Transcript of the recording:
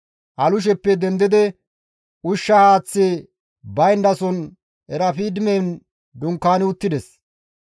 Alusheppe dendidi ushsha haaththi bayndason Erafidimen dunkaani uttides.